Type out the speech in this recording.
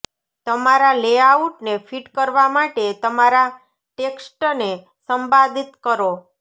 તમારા લેઆઉટને ફિટ કરવા માટે તમારા ટેક્સ્ટને સંપાદિત કરો